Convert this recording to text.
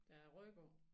Der er ryk på